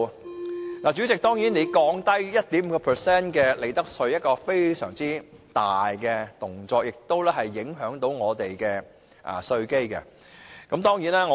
代理主席，利得稅稅率降低 1.5% 是一個非常大的動作，會影響我們的稅基。